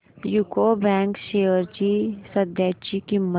UCO bank shares ची सध्याची किंमत